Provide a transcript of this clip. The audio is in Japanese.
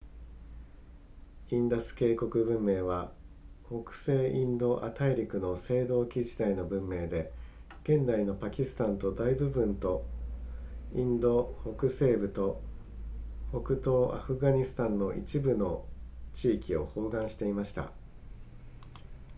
インダス渓谷文明は北西インド亜大陸の青銅器時代の文明で現代のパキスタンの大部分とインド北西部と北東アフガニスタンの一部の地域を包含していました